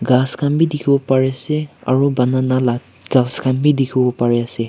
ghas khan bi dikhiwo parise aro banana la ghas khan bi dikhiwo pariase.